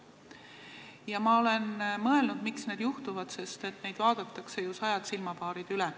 Ja ma olen mõelnud, miks need juhtuvad – neid vaatavad ju sajad silmapaarid üle.